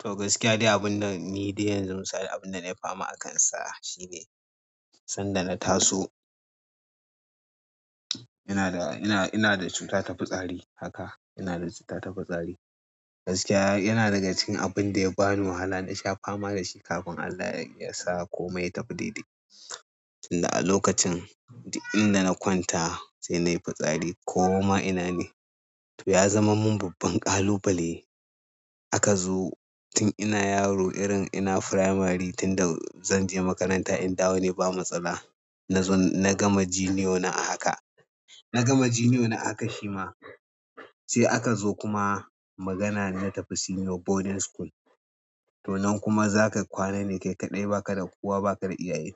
To gaskiya dai abun da ni dai yanzu misali abin da na yi fama akansa shine sanda na taso. Ina da, ina, ina da cuta ta fi tsari haka. Ina da cuta ta fi tsari. Gaskiya yana daga cikin abin da ya bani wahala na sha fama da shi kafin Allah ya sa komai ya tafi daidai. Tun da a lokacin, duk inda na kwanta sai na yi fitsari ko ma ina ne. To ya zama min babban ƙalubale. Aka zo tun ina yaro irin ina firamari tun da zan je makaranta in dawo ne ba matsala. Na zo na gama jiniyo na a haka. Naga junior na a haka shima sai aka zo kuma magana na tafi senior boarding school. To nan kuma za ka kwana ne kai kaɗai ba ka da kowa ba ka da iyaye.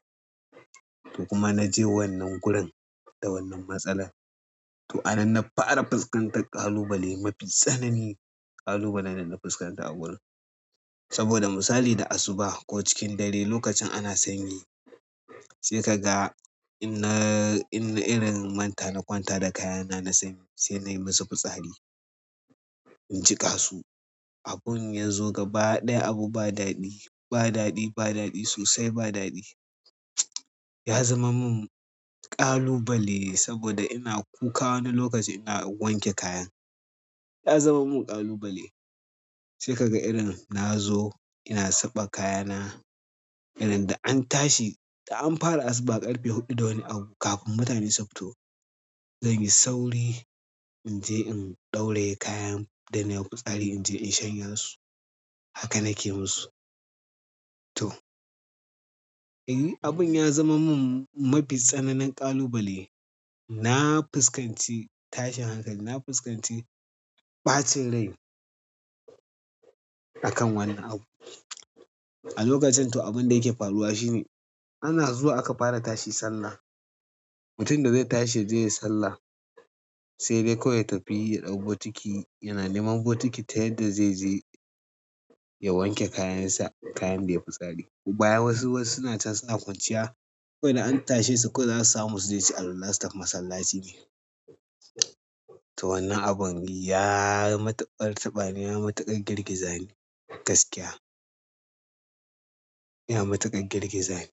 To kuma naje wannan gurin da wannan matsalar. To a nan na fara fuskantar ƙalubale mafi tsanani. Ƙalubalen da na fuskanta a gurin. Saboda misali da asuba ko cikin dare lokacin ana sanyi sai kaga in na in na irin manta na kwanta da kayana na sanyi sai nai musu fitsari. In jiƙa su. Abin ya zo gaba ɗaya abu ba daɗi, ba daɗi, ba daɗi sosai ba daɗi. Ya zamar min ƙalubale saboda ina kuka wani lokaci ina wanke kayan. Ya zama min ƙalubale. Sai ka ga irin na zo ina saɓa kayana irin da an tashi da an fara asuba ƙarfe huɗu da wani abu kafin mutane su fito. Zan yi sauri inje in ɗauraye kayan da naiwa fitsari inje in shanya su. Haka nake yi musu. To, abin ya zama min mafi tsananin ƙalubale. Na fuskanci tashin hankali na fiskanci ɓacin rai akan wannan abu. A lokacin to abin da yake faruwa shine ana zuwa aka fara tashi sallah. Mutum da zai tashi yaje ya yi sallah sai dai kawai ya tafi ya ɗau botiki yana neman botiki ta yadda zai je ya wanke kayansa, kayan da ya fitsari. Baya wasu wasu suna can suna kwanciya. Kawai da na tashe su kawai zasu samu suje suyi alwalane su tafi masallaci. To wannan abun ya yi matuƙar tabani, ya yi matuƙar girgizani gaskiya. Ya yi matuƙar girgizani.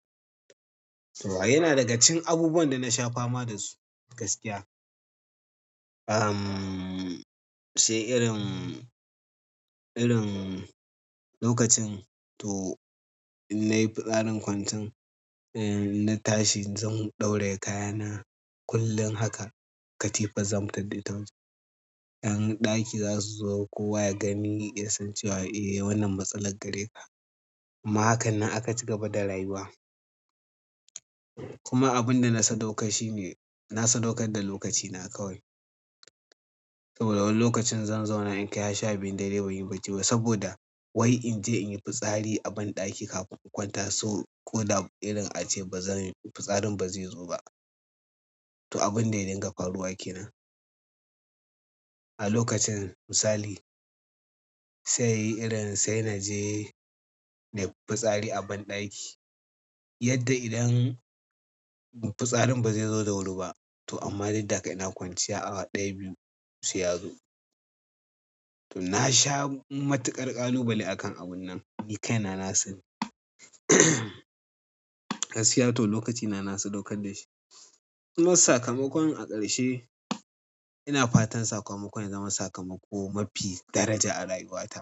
To yana daga cikin abubuwan da na sha fama dasu gaskiya. Uhm, sai irin, irin lokacin to in na yi fitsarin kwancen, eh na tashi zan ɗauraye kayana kullum haka. Katifar zan fitar da ita waje. Ƴan ɗaki za su zo kowa ya gani ya san cewa eh wannan matsalar gare ka. Amma hakannan aka ci gaba da rayuwa. Kuma abin da na sadaukar shine na sadaukar da lokacina kawai. Saboda wani lokacin zan zauna in kai gar sha biyun dare ban yi bacci ba saboda wai in je in yi fitsari a banɗaki kafin in kwanta so ko da irin ace bazan fitsarin ba zai zo ba. To abin da ya dinga faruwa kenan. A lokacin misali, sai irin sai na je na yi fitsari a banɗaki yadda idan fitsarin ba zai zo da wuri ba. To amma duk da haka ina kwanciya awa ɗaya, biyu sai ya zo. To na sha matuƙar ƙalubale akan abun nan. Ni kaina na sani. Gaskiya to lokacina na sadaukar da shi. Kuma sakamakon a ƙarshe ina fatan sakamakon ya zama sakamako mafi daraja a rayuwata.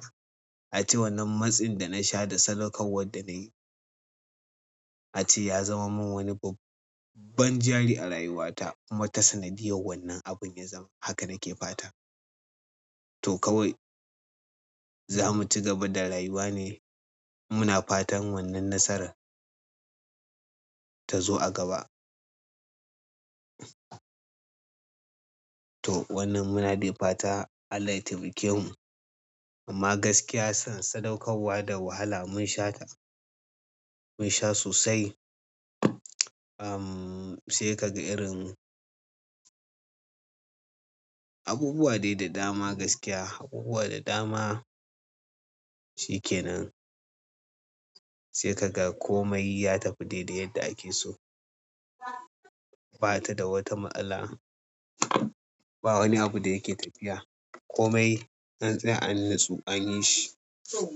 A ce wannan matsin da na sha da sadaukarwar da nayi a ce ya zama min wani babban jari a rayuwata. Kuma ta sanadiyar wannan abin ya zama haka nake fata. To kawai za mu ci gaba da rayuwa ne muna fatan wannan nasara ta zo a gaba. To wannan muna dai fata Allah ya taimake mu. Amma gaskiya son sadaukarwa da wahala mun sha ta. Mun sha sosai. Uhm, sai ka ga irin abubuwa dai da dama gaskiya, abubuwa da dama shi kenan. Sai ka ga komai ya tafi dai dai yadda ake so. Ba ta da wata ma'ala. Ba wani abu da yake tafiya. Komai an tsiya an natsu an yi shi. To.